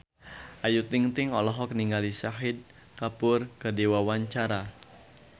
Ayu Ting-ting olohok ningali Shahid Kapoor keur diwawancara